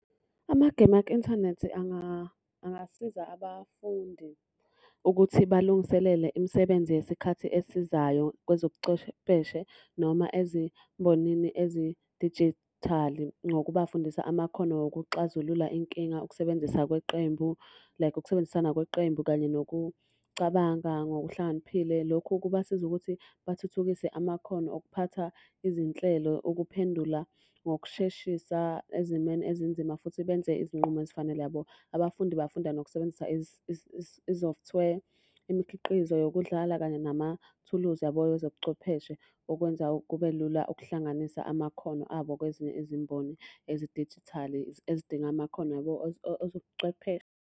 Amagemu aku-inthanethi angasiza abafundi ukuthi balungiselele imisebenzi yesikhathi esizayo kwezobucwepheshe noma ezimbonini ezidijithali ngokubafundisa amakhono okuxazulula inkinga. Ukusebenzisa kweqembu like ukusebenzisana kweqembu kanye nokucabanga ngokuhlakaniphile. Lokhu kubasiza ukuthi bathuthukise amakhono okuphatha izinhlelo. Ukuphendula ngokusheshisa ezimweni ezinzima futhi benze izinqumo ezifanele yabo. Abafundi bayafunda nokusebenzisa i-software. Imikhiqizo yokudlala kanye namathuluzi yabo ezobuchwepheshe. Okwenza kube lula ukuhlanganisa amakhono abo kwezinye izimboni ezidijithali ezidinga amakhono yabo .